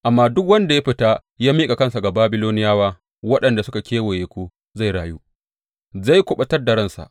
Amma duk wanda ya fita ya miƙa kansa ga Babiloniyawa waɗanda suka kewaye ku zai rayu; zai kuɓutar da ransa.